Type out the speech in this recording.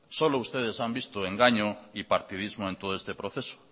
solo ustedes has visto engaño y partidismos en todo este proceso